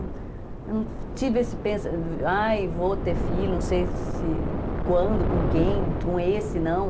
Eu não tive esse pensamento, ai, vou ter filho, não sei se, quando, com quem, com esse, não.